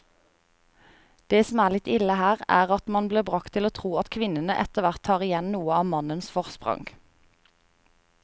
Det som er litt ille her, er at man blir bragt til å tro at kvinnene etterhvert tar igjen noe av mannens forsprang.